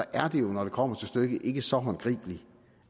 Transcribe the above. er det jo når det kommer til stykket ikke så håndgribeligt